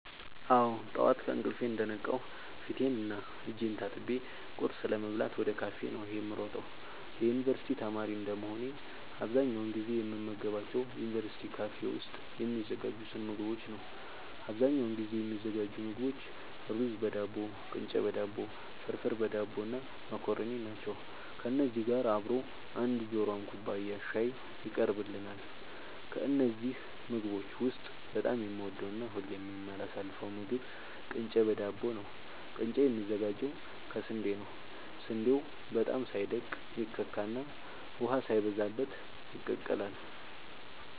አወ ጠዋት ከእንቅልፌ እንደነቃሁ ፊቴን እና እጄን ታጥቤ ቁርስ ለመብላት ወደ ካፌ ነዉ የምሮጠው የዩንቨርስቲ ተማሪ እንደመሆኔ አብዛኛውን ጊዜ የምመገባቸው ዩንቨርስቲ ካፌ ውስጥ የሚዘጋጁትን ምግቦች ነዉ አብዛኛውን ጊዜ የሚዘጋጁ ምግቦች እሩዝበዳቦ ቅንጨበዳቦ ፍርፍርበዳቦ እና መኮረኒ ናቸው ከነዚህ ጋር አብሮ አንድ ጆሯም ኩባያ ሻይ ይቀርብልናል ከነዚህ ምግቦች ውስጥ በጣም የምወደውና ሁሌም የማላሳልፈው ምግብ ቅንጨ በዳቦ ነዉ ቅንጨ የሚዘጋጀው ከስንዴ ነዉ ስንዴው በጣም ሳይደቅ ይከካና ውሃ ሳይበዛበት ይቀላል